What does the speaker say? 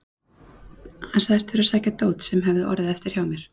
Hann sagðist þurfa að sækja dót sem hefði orðið eftir hjá mér.